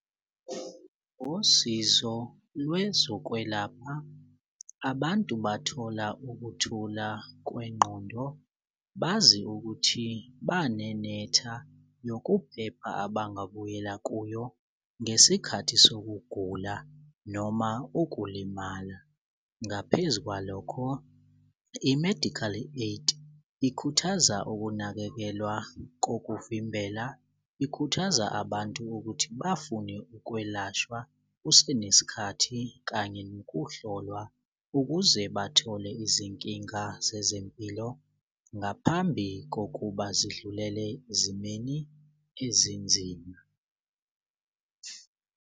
Usizo lwezokwelapha abantu bathola ukuthula kwengqondo bazi ukuthi banenetha yokuphepha abangabuyela kuyo ngesikhathi sokugula noma ukulimala. Ngaphezu kwalokho i-medical aid ikhuthaza ukunakekelwa kokuvimbela ikhuthaza abantu ukuthi bafune ukwelashwa kusenesikhathi kanye nokuhlolwa ukuze bathole izinkinga zezempilo ngaphambi kokuba zidlulele ezimeni ezinzima.